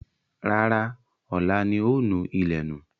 Rárá, ọ̀la ni ó nù ilẹ̀ nù.